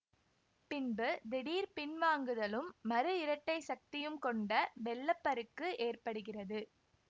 பின்பு திடீர் பின்வாங்குதலும் மறு இரட்டை சக்தியும் கொண்ட வெள்ள பருக்கு ஏற்படுகிறது